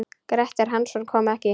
Grettir Hansson kom ekki.